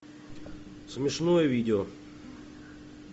смешное видео